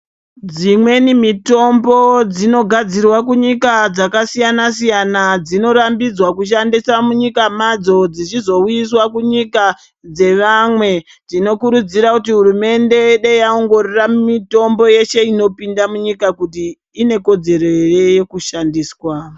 Dzimweni mitombo dzinogadzirwa kunyika dzakasiyana-siyana dzinorambidzwa kushandisa munyika madzo dzichizouyiswa kunyika dzevamwe. Tinokurudzira kuti hurumende dei yaongorora mitombo yeshe inopinda munyika kuti ine kodzero ere yekushandiswa.